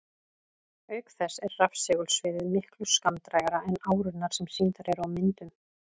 Auk þess er rafsegulsviðið miklu skammdrægara en árurnar sem sýndar eru á myndum.